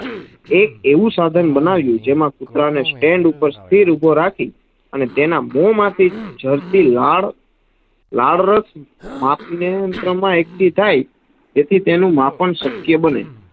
એક આવું સાધન બનાવ્યું જેમાં કુતરા ને stand ઉપર સ્થિર ઊભો રાખી અને તેના મો માંથી જરતી લાડ, લાડ રસ માપનિયંત્રણ માં એકઠી થાય જેથી તેનું માપન શક્ય બને.